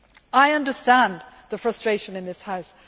I understand the frustration in this House.